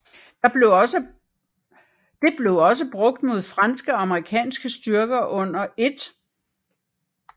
Det blev også brugt mod franske og amerikanske styrker under 1